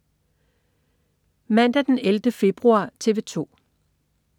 Mandag den 11. februar - TV 2: